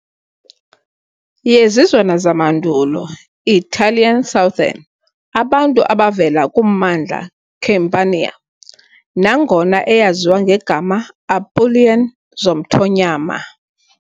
yezizwana zamandulo Italian-Southern abantu abavela kummandla Campania, nangona eyaziwa ngegama "Apulian zomthonyama" .